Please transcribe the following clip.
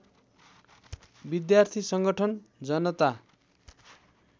विद्यार्थी संगठन जनता